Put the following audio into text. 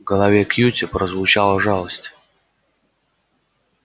в голосе кьюти прозвучала жалость